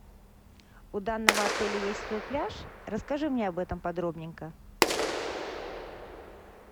у данного отеля есть свой пляж расскажи мне об этом подробненько